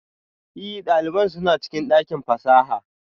Ee, ɗalibai suna cikin ɗakin fasaha